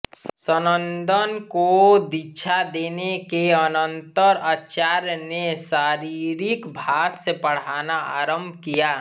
सनन्दन को दीक्षा देने के अनन्तर आचार्य ने शारिरिक भाष्य पढ़ाना आरम्भ किया